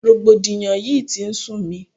Rògbòdìyàn yìí tí ń sú mi.